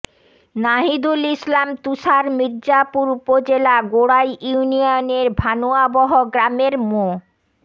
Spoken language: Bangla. নাহিদুল ইসলাম তুষার মির্জাপুর উপজেলা গোড়াই ইউনিয়নের ভানুয়াবহ গ্রামের মো